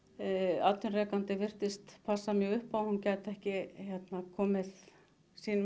atvinnurekandi virtist passa mjög upp á að hún gæti ekki komið sínum